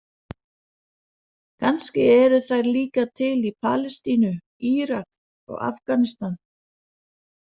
Kannski eru þær líka til í Palestínu, Írak og Afganistan.